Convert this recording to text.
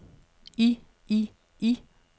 i i i